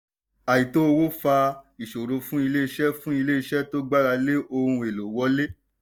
àìtó owó fa ìṣòro fún iléeṣẹ́ fún iléeṣẹ́ tó gbára lé ohun èlò wọlé.